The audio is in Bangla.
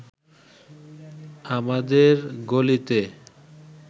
আমাদের গলিতে